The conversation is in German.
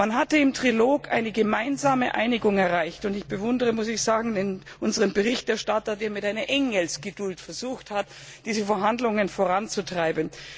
Man hatte im Trilog eine gemeinsame Einigung erreicht, und ich bewundere unseren Berichterstatter, der mit einer Engelsgeduld versucht hat, diese Verhandlungen voranzutreiben.